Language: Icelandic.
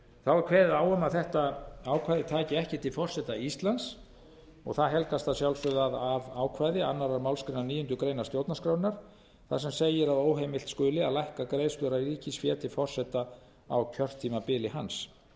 þá er kveðið er á um að þetta ákvæði taki ekki til forseta íslands og það helgast að sjálfsögðu af ákvæði annarrar málsgreinar níundu grein stjórnarskrárinnar þar sem segir að óheimilt skuli að lækka greiðslur af ríkisfé til forseta á kjörtímabili hans